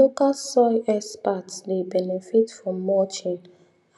local soil experts dey benefit from mulching